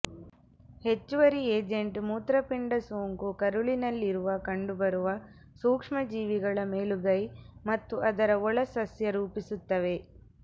ಹೆಚ್ಚುವರಿ ಏಜೆಂಟ್ ಮೂತ್ರಪಿಂಡ ಸೋಂಕು ಕರುಳಿನಲ್ಲಿರುವ ಕಂಡುಬರುವ ಸೂಕ್ಷ್ಮಜೀವಿಗಳ ಮೇಲುಗೈ ಮತ್ತು ಅದರ ಒಳ ಸಸ್ಯ ರೂಪಿಸುತ್ತವೆ